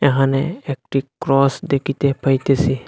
এখানে একটি ক্রস দেখিতে পাইতেসি।